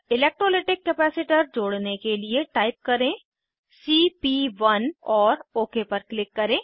electrolytic capacitor जोड़ने के लिए टाइप करें सीपी1 और ओक पर क्लिक करें